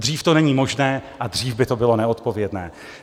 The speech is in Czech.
Dřív to není možné a dřív by to bylo neodpovědné.